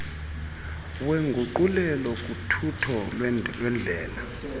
wenguqulelo kuthutho lwendlela